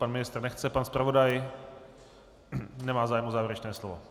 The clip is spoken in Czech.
Pan ministr nechce, pan zpravodaj nemá zájem o závěrečné slovo.